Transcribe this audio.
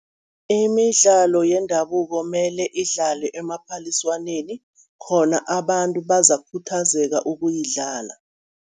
Imidlalo yendabuko mele idlalwe emaphaliswaneni, khona abantu bazakukhuthazeka ukuyidlala.